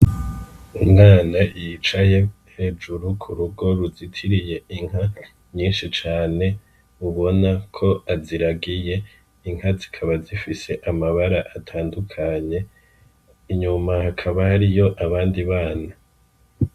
Umwana yicaye hejuru ku rugo ruzitiriye inka nyishi cane ubona ko aziragiye, Inka zikaba zifise amabara atandukanye inyuma hakaba hariyo abandi bana.